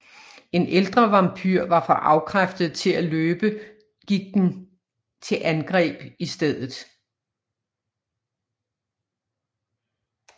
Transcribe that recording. En ældre vampyr var for afkræftet til at løbe gik den til andgreb i stedet